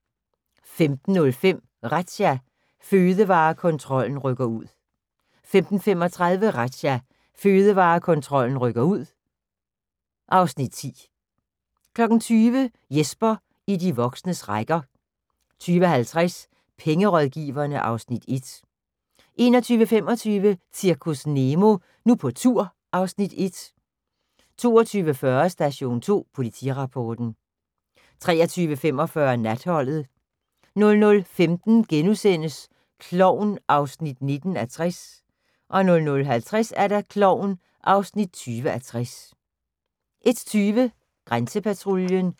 15:05: Razzia – Fødevarekontrollen rykker ud 15:35: Razzia – Fødevarekontrollen rykker ud (Afs. 10) 20:00: Jesper i de voksnes rækker 20:50: Pengerådgiverne (Afs. 1) 21:25: Zirkus Nemo – Nu på tur (Afs. 1) 22:40: Station 2 Politirapporten 23:45: Natholdet 00:15: Klovn (19:60)* 00:50: Klovn (20:60) 01:20: Grænsepatruljen